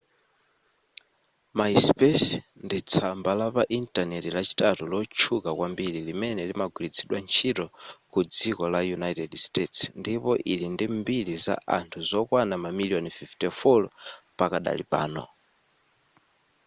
myspace ndi tsamba lapa intaneti lachitatu lotchuka kwambiri limene limagwiritsidwa ntchito ku dziko la united states ndipo ili ndi mbiri za anthu zokwana mamiliyoni 54 pakadali pano